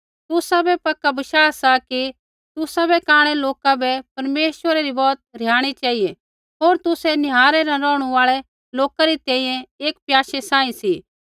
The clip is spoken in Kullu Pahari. तुसाबै पक्का बशाह सा कि तुसाबै कांणै लोका बै परमेश्वरा री बौत रिहाणी चेहिऐ होर तुसै निहारै न रौहणु आल़ै लोका री तैंईंयैं एक प्याशै सांही सी